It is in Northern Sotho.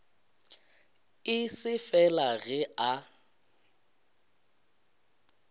e se fela ge a